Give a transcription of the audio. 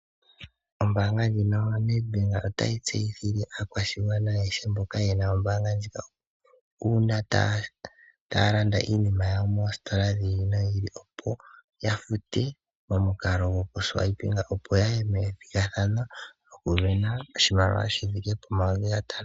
Ombaanga ya Nedbank otayi tseyithile aakwashigwana ayehe mboka yena ombaanga ndjika . Uuna taya landa iinima yawo moositola dhili nodhili opo yafute momukalo gokulongitha okakalata , opo yawa pe okuya methigathano lyokusindana N$5000.